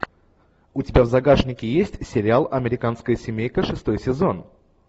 у тебя в загашнике есть сериал американская семейка шестой сезон